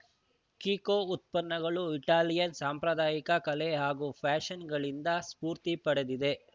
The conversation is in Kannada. ಕಿಕೋ ಉತ್ಪನ್ನಗಳು ಇಟಾಲಿಯನ್‌ ಸಾಂಪ್ರದಾಯಿಕ ಕಲೆ ಹಾಗೂ ಫ್ಯಾಷನ್‌ಗಳಿಂದ ಸ್ಫೂರ್ತಿ ಪಡೆದಿದೆ